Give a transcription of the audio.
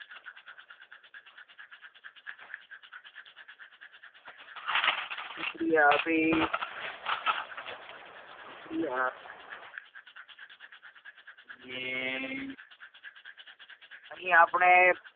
પ્રતિક્રિયા અભી પ્રતિક્રિયા નેને અહીં આપણે